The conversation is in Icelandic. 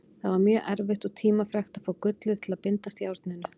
Það var mjög erfitt og tímafrekt að fá gullið til að bindast járninu.